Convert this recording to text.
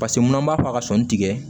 Paseke mun b'a fɔ ka sɔn tigɛ